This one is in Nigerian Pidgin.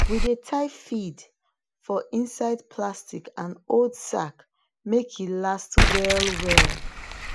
we dey tie feed for inside plastic and old sack make make e last well well